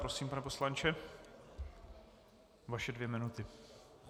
Prosím, pane poslanče, vaše dvě minuty.